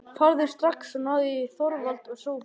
Farðu strax og náðu í Þorvald og Sophus.